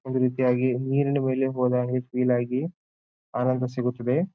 ಒಂದು ರೀತಿಯಾಗಿ ನೀರಿನ ಮೇಲೆ ಹೋದಾಗ ಫೀಲ್ ಆಗಿ ಆನಂದ ಸಿಗುತ್ತದೆ.